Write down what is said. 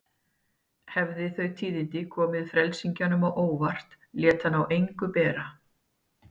Hafi þau tíðindi komið frelsingjanum á óvart lét hann á engu bera.